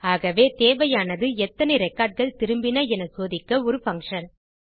ஆகவே தேவையானது எத்தனை ரெக்கார்ட் கள் திரும்பின என சோதிக்க ஒரு பங்ஷன்